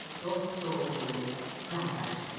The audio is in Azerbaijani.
Dost oldu, qardaş oldu.